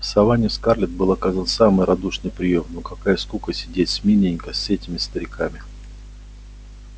в саванне скарлетт был оказан самый радушный приём но какая скука сидеть смирненько с этими стариками